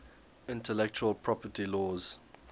intellectual property laws